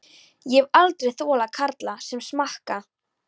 Ég hef aldrei þolað karla sem smakka.